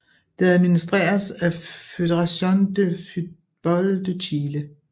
Det administreres af Federación de Fútbol de Chile